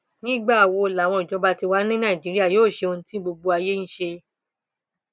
nígbà wo làwọn ìjọba tiwa ní nàìjíríà yóò ṣe ohun tí gbogbo ayé ń ṣe